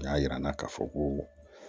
O y'a yira n na k'a fɔ ko